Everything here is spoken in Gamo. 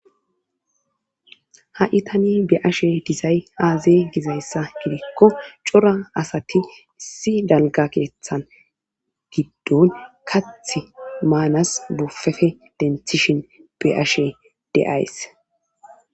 ha7i tani be ashe disay aaze gizayssa gidikko cora asati issi dalga keeththan giddon kath maanas bufefe denthishin be ashe deays